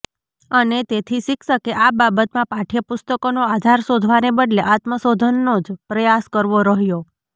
અને તેથી શિક્ષકે આ બાબતમાં પાઠ્યપુસ્તકોનો આધાર શોધવાને બદલે આત્મશોધનનો જ પ્રયાસ કરવો રહ્યો